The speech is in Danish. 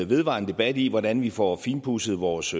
vedvarende debat i hvordan vi får finpudset vores